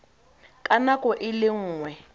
ka nako e le nngwe